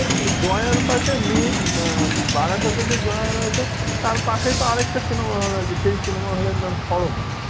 জয়ার পাশে মেয়ের মে বারাসাতে যেই জয়া রয়েছে তার পাশে আরেকটাও cinema hall আছে সেই cinema হলের নাম শর্মা